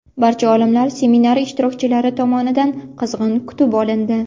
Barcha olimlar seminar ishtirokchilari tomonidan qizg‘in kutib olindi.